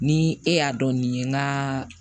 Ni e y'a dɔn nin ye n gaa